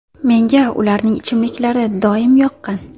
Menga ularning ichimliklari doim yoqqan.